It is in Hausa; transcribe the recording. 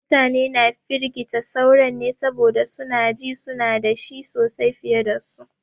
Mutane na firgita sauran ne saboda su na ji su na da shi sosai fiye da su.